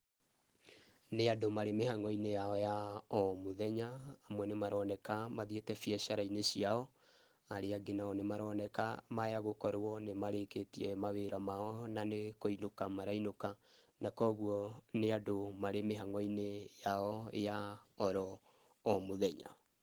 Nĩ andũ marĩ mĩhango-inĩ yao ya o mũthenya, amwe nĩ maroneka mathiĩte bĩacara-inĩ ciao, arĩa angĩ nao nĩmaroneka maya gũkorwo nĩ marĩkĩtie mawĩra mao na nĩ kũinũka marainũka. Na koguo nĩ andũ marĩ mĩhango-inĩ yao ya o ro mũthenya.